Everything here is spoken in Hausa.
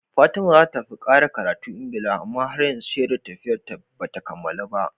Fatima zata tafi ƙara karatu Engila amma har yanzu shedar tafiyar ta bata kammalu ba